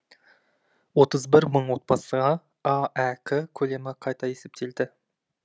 отыз бір мың отбасыға аәк көлемі қайта есептелді